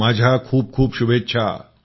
माझ्या खूप खूप शुभेच्छा